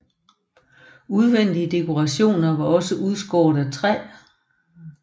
Udvendige dekorationer var også udskåret af træ